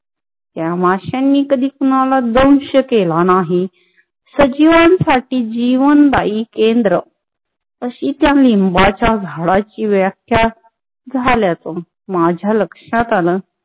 त्या माशान्ही कदी कुणाला द्वंश केला नाही. सजीवासटी जीवनदायी केंद्र तशी च्या लीम्बांचा झाडाची व्याक्य झाला माझा लक्षात आला,